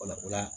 Wala o la